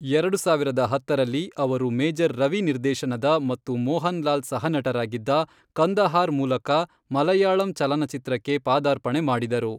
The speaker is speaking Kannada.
ಎರಡು ಸಾವಿರದ ಹತ್ತರಲ್ಲಿ, ಅವರು ಮೇಜರ್ ರವಿ ನಿರ್ದೇಶನದ ಮತ್ತು ಮೋಹನ್ ಲಾಲ್ ಸಹನಟರಾಗಿದ್ದ, ಕಂದಹಾರ್ ಮೂಲಕ ಮಲಯಾಳಂ ಚಲನಚಿತ್ರಕ್ಕೆ ಪಾದಾರ್ಪಣೆ ಮಾಡಿದರು.